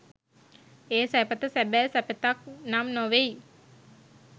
ඒ සැපත සැබෑ සැපතක් නම් නොවෙයි.